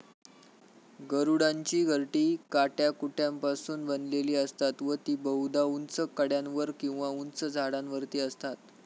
गरुडांची घरटी काट्याकुट्यांपासून बनलेली असतात व ती बहुधा ऊंच कड्यांवर किंवा उंच झाडांवरती असतात.